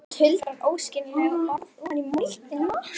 Hún tuldrar óskiljanleg orð ofan í moldina.